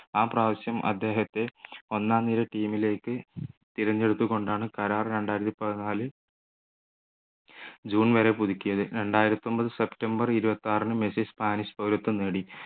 ആപ്രാവശ്യം അദ്ദേഹത്തെ ഒന്നാം നിര team ലേക്ക് തിരഞ്ഞെടുത്തുകൊണ്ടാണ് കരാർ രണ്ടായിരത്തി പതിനാല് ജൂൺ വരെ പുതുക്കിയത് രണ്ടായിരത്തിയൊമ്പത് സെപ്റ്റംബർ ഇരുപത്തിയാറിന് മെസ്സി സ്പാനിഷ് പൗരത്വം നേടി